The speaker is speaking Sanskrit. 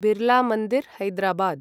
बिर्लामन्दिर्, हैदराबाद्